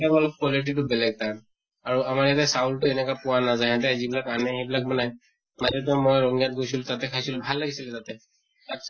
quality তো বেলেগ তাৰ আৰু আমাৰ ইয়াতে চাউল তো এনেকা পোৱা নাজায় । সিহঁতে যি বিলাক আনে, সেইবিলাক মানে মই ৰঙিয়া ত গৈছিলো, তাতে খাইছিলো, ভাল হৈছিল তাতে ।